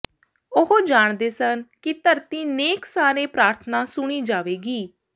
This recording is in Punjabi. ਉਹ ਜਾਣਦੇ ਸਨ ਕਿ ਧਰਤੀ ਨੇਕ ਸਾਰੇ ਪ੍ਰਾਰਥਨਾ ਸੁਣੀ ਜਾਵੇਗੀ